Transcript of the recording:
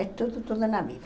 É tudo, tudo na vida.